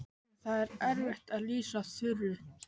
En það er erfitt að lýsa Þuru.